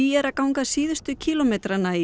er að ganga síðustu kílómetra í